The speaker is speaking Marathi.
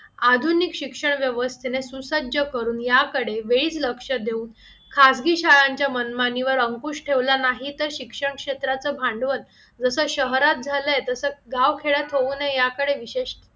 आधुनिक शिक्षण व्यवस्थेने सुसज्ज करून याकडे वेद लक्ष देऊन खाजगी शाळांच्या मनमानीवर अंकुश ठेवला नाही तर शिक्षण क्षेत्राचे भांडवल जसं शहरात झालंय तसं गाव खेळत होऊ नये याकडे विशेष